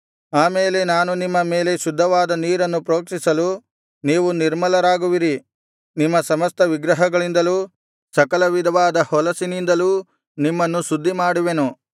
ಆಮೇಲೆ ನಾನು ನಿಮ್ಮ ಮೇಲೆ ಶುದ್ಧವಾದ ನೀರನ್ನು ಪ್ರೋಕ್ಷಿಸಲು ನೀವು ನಿರ್ಮಲರಾಗುವಿರಿ ನಿಮ್ಮ ಸಮಸ್ತ ವಿಗ್ರಹಗಳಿಂದಲೂ ಸಕಲ ವಿಧವಾದ ಹೊಲಸಿನಿಂದಲೂ ನಿಮ್ಮನ್ನು ಶುದ್ಧಿಮಾಡುವೆನು